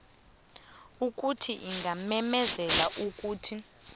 ukuthi ingamemezela ukuthi